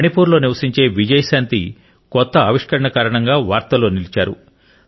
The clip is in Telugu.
మణిపూర్లో నివసించే విజయశాంతి కొత్త ఆవిష్కరణ కారణంగా వార్తల్లో నిలిచారు